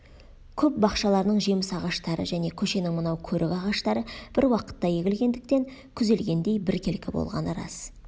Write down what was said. көп бақшаларының жеміс ағаштары және көшенің мынау көрік ағаштары бір уақытта егілгендіктен күзелгендей біркелкі болғаны рас